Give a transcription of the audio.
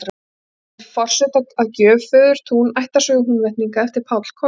Hann færir forseta að gjöf Föðurtún, ættarsögu Húnvetninga, eftir Pál Kolka.